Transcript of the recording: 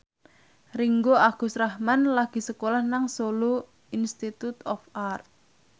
Ringgo Agus Rahman lagi sekolah nang Solo Institute of Art